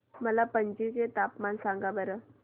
मला पणजी चे तापमान सांगा बरं